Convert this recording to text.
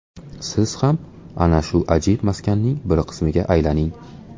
Siz ham ana shu ajib maskanning bir qismiga aylaning.